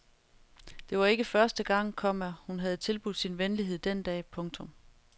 Det var ikke første gang, komma hun havde tilbudt sin venlighed den dag. punktum